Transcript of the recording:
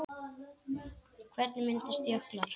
Hvernig myndast jöklar?